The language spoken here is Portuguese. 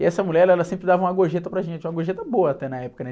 E essa mulher, ela sempre dava uma gorjeta para gente, uma gorjeta boa até na época, né?